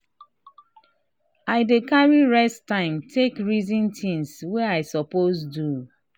i dey carry rest time take reason things wey i suppose do.